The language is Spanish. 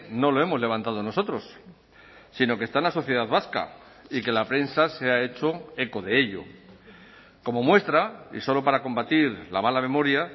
no lo hemos levantado nosotros sino que está en la sociedad vasca y que la prensa se ha hecho eco de ello como muestra y solo para combatir la mala memoria